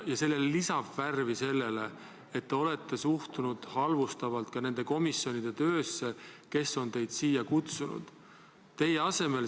Ja värvi lisab see, et te olete suhtunud halvustavalt ka nende komisjonide töösse, kes on teid siia kutsunud.